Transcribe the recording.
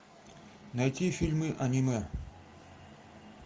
найти фильмы аниме